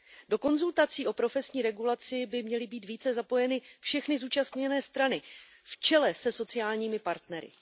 Do konzultací o profesní regulaci by měly být více zapojeny všechny zúčastněné strany, v čele se sociálními partnery.